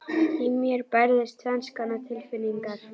Í mér bærðust tvenns konar tilfinningar.